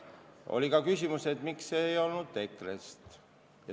Oli ka küsimus, miks ei ole kedagi EKRE-st.